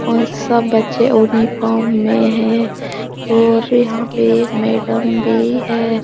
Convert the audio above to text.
और सब बच्चे यूनिफॉर्म में हैं और यहाँ पे एक मैडम भी है।